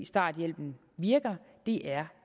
starthjælpen virker det er